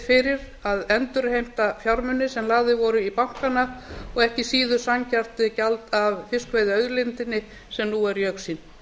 fyrir að við getum endurheimt fjármuni sem lagðir voru í bankana og ekki síður sanngjarnt gjald af fiskveiðiauðlindinni sem nú er í augsýn